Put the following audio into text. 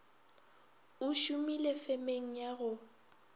o šomile femeng ya go